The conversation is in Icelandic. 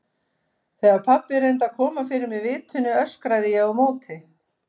Þegar pabbi reyndi að koma fyrir mig vitinu öskraði ég á móti.